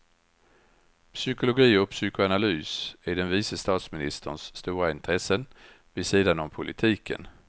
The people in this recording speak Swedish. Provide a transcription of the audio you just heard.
Psykologi och psykoanalys är den vice statsministerns stora intressen vid sidan om politiken.